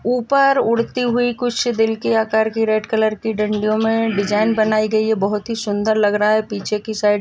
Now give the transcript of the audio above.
उपर उड़ती हुई कुछ दिल की आकार की रेड कलर की डंडियों मे डिज़ाइन बनाई गई है बहुत ही सुंदर लग रहा है पीछे की साइड़ --